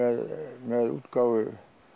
með útgáfu